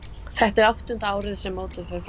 Þetta er áttunda árið sem mótið fer fram.